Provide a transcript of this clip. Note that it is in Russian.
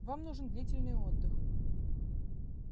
вам нужен длительный отдых